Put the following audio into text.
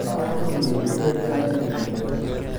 Lacagtu miyay dhibaysaa inuu yimaado?